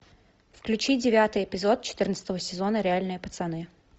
включи девятый эпизод четырнадцатого сезона реальные пацаны